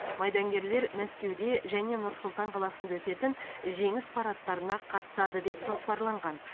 майдангерлер мәскеуде және нұр сұлтан қаласында өтетін жеңіс парадтарына қатысады деп жоспарланған